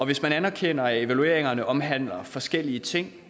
hvis man anerkender at evalueringerne omhandler forskellige ting